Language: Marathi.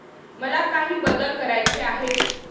मला काही बदल करायचे आहेत.